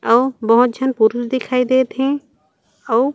अउ बहुत झन पुरूष दिखाई देत हे। अउ--